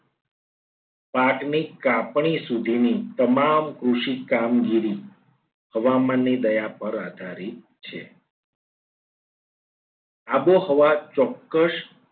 પાક ની કાપણી સુધીની તમામ કૃષિ કામગીરી હવામાનની દયા પર આધારિત છે. આબોહવા ચોક્કસ